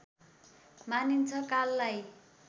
मानिन्छ काललाई